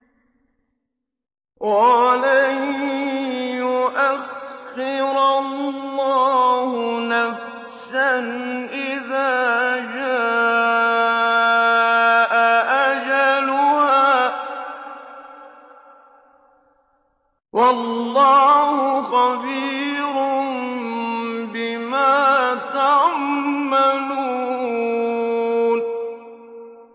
وَلَن يُؤَخِّرَ اللَّهُ نَفْسًا إِذَا جَاءَ أَجَلُهَا ۚ وَاللَّهُ خَبِيرٌ بِمَا تَعْمَلُونَ